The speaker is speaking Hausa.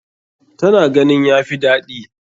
Ta na ganin ya fi daɗi.